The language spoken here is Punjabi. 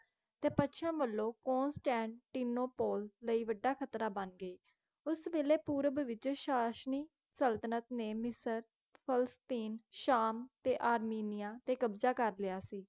ਤੇ ਪਛਿਮ ਵੱਲੋਂ ਕੋਂਸਟੈਂਟੀਨੋਪੋਲ ਲਈ ਵੱਢਾ ਖਤਰਾ ਬਣ ਗਏ ਉਸ ਵੇਲੇ ਪੂਰਵ ਵਿੱਚ ਸ਼ਾਸਨੀ ਸਲਤਨਤ ਨੇ ਮਿਸਰ ਫਿਲਿਸਤੀਨ ਸ਼ਾਮ ਤੇ ਅਰਮੀਨੀਆ ਤੇ ਕਬਜ਼ਾ ਕਰ ਲਿਆ ਸੀ